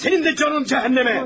O halda sənin də canın cəhənnəmə.